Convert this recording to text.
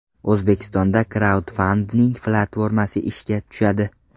O‘zbekistonda kraudfanding platformasi ishga tushadi.